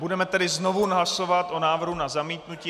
Budeme tedy znovu hlasovat o návrhu na zamítnutí.